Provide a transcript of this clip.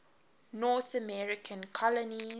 north american colonies